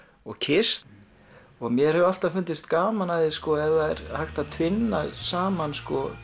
og Kiss mér hefur alltaf fundist gaman af því ef það er hægt að vinna saman